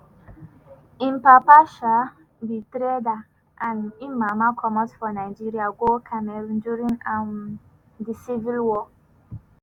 im papa um be trader and im mama comot for nigeria go cameroon during um di civil war.